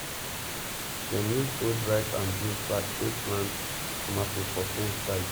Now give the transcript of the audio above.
dem use old rice and beans sack take plant tomatoes for fence side